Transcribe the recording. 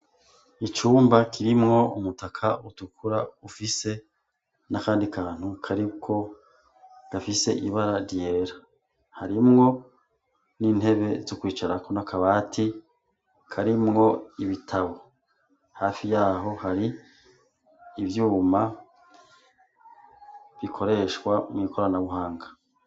Icumba kirimwo umutaka utukura ufise n'akandi kantu kariko gafise ibara ryera harimwo n'intebe z'ukwicarako n'akabati karimwo ibitabo hafi yaho hari ivyuma bikoreshwa mw'ikoranabuhanga.